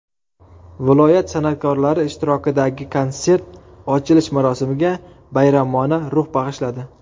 Viloyat san’atkorlari ishtirokidagi konsert ochilish marosimiga bayramona ruh bag‘ishladi.